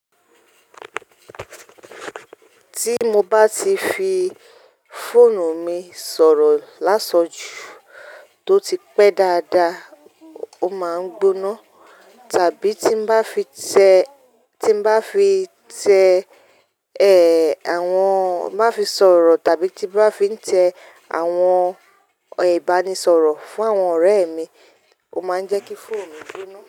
Tí mo bá ti fi fóònù mi sọ̀rọ̀ lásan jú tó ti pẹ́ dáadáa, ó máa ń gbóná. Tàbí tí bá fi tẹ́, ẹ, àwọn, bá fi sọ̀rọ̀ tàbí tí bá fi ń tẹ àwọn ìbánisọ̀rọ̀ fún àwọn ọ̀rẹ́ mi, ó máa ń jẹ́ kí fóònù gbóná.